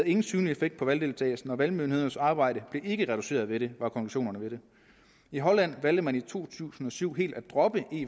ingen synlig effekt på valgdeltagelsen og valgmyndighedernes arbejde blev ikke reduceret ved det var konklusionerne i holland valgte man i to tusind og syv helt at droppe e